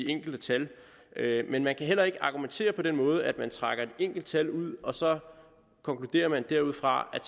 enkelte tal men man kan heller ikke argumentere på den måde at man trækker et enkelt tal ud og så konkluderer derudfra at